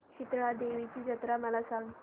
शितळा देवीची जत्रा मला सांग